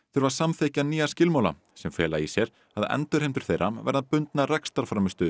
þurfa að samþykkja nýja skilmála sem fela í sér að endurheimtur þeirra verða bundnar